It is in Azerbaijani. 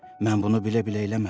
Mən bunu bilə-bilə eləmədim.